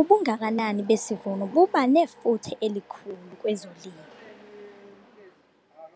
Ubungakanani besivuno buba nefuthe elikhulu kwezolimo